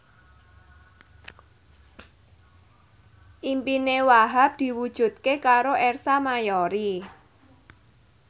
impine Wahhab diwujudke karo Ersa Mayori